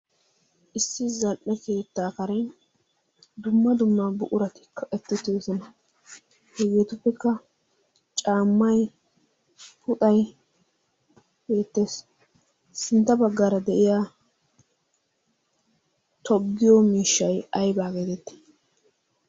issi zal''e keettaa kare dumma dumma buquratikka ettittiyosona hegeetuppekka caammay puxai beettees sintta baggaara de'iya toggiyo miishshay aybaa geetetti